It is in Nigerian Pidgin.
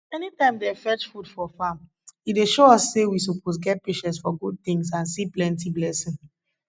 anytime dem fetch food for farm e dey show us say we suppose get patience for good things and see plenty blessing